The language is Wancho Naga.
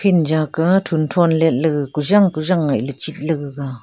ijaka thun thon letle gag kujang kujang ngaile chitle gaga--